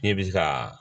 Ne bɛ se ka